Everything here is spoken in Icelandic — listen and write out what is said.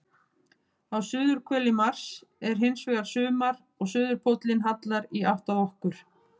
Á suðurhveli Mars er hins vegar sumar og suðurpóllinn hallar í átt að okkar.